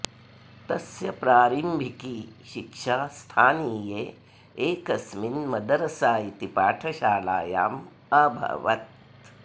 तस्य प्रारम्भिकी शिक्षा स्थानीये एकस्मिन् मदरसा इति पाठशालायां अभवत्